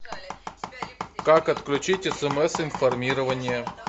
как отключить смс информирование